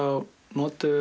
notuðum